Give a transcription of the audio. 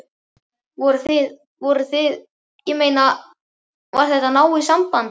Voruð þið. voruð þið. ég meina. var þetta náið samband?